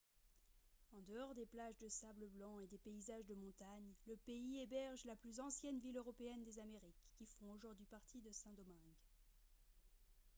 en dehors des plages de sable blanc et des paysages de montagne le pays héberge la plus ancienne ville européenne des amériques qui font aujourd'hui partie de saint-domingue